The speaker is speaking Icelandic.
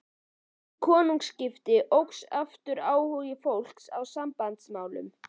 Við konungaskiptin óx aftur áhugi fólks á Sambandsmálinu.